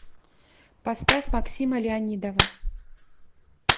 поставь максима леонидова